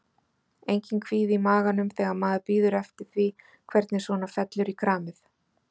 Enginn kvíði í maganum þegar maður bíður eftir því hvernig svona fellur í kramið?